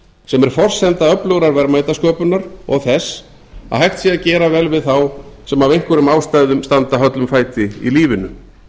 sem er forsenda öflugrar verðmætasköpunar og þess að hægt sé að gera vel við þá sem af einhverjum ástæðum standa höllum fæti í lífinu